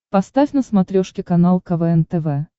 поставь на смотрешке канал квн тв